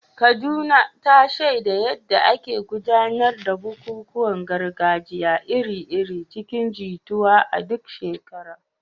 Kaduna, ta shaida yadda ake gudanar da bukukuwan gargajiya iri-iri cikin jituwa a duk shekara.